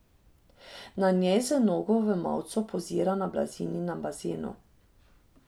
Na njej z nogo v mavcu pozira na blazini na bazenu.